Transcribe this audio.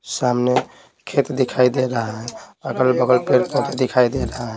सामने खेत दिखाई दे रहा है अगल-बगल पेड़ पौधे दिखाई दे रहा है।